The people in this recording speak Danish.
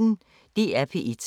DR P1